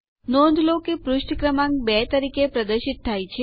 નોંધ લો કે પુષ્ઠ ક્રમાંક 2 તરીકે પ્રદર્શિત થાય છે